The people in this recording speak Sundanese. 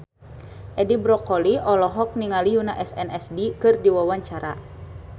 Edi Brokoli olohok ningali Yoona SNSD keur diwawancara